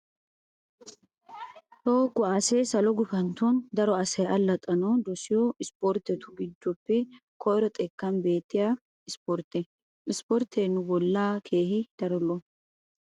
Toho kuwaasee salo gufantton daro asay allaxxanawu dosiyo ispporttetu giddoppe koyro xekkan beettiya isipportte. Isporttee nu bollawu keehi daro lo'o.